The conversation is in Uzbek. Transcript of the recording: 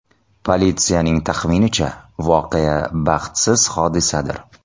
Politsiyaning taxminicha, voqea baxtsiz hodisadir.